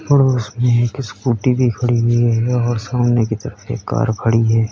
और उसमें स्कूटी भी खड़ी हुई है और सामने की तरफ एक कार खड़ी है।